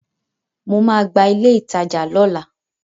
Mo ma gba ilé ìtajà lọ́la.